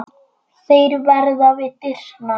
Þeir verða við dyrnar.